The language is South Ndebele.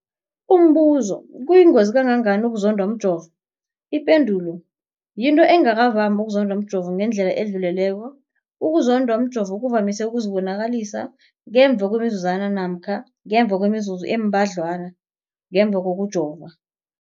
Umbuzo, kuyingozi kangangani ukuzondwa mjovo? Ipendulo, yinto engakavami ukuzondwa mjovo ngendlela edluleleko. Ukuzondwa mjovo kuvamise ukuzibonakalisa ngemva kwemizuzwana namkha ngemva kwemizuzu embadlwana ngemva kokujova.